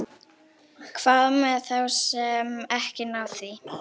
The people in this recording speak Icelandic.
Hvað með þá sem ekki ná því?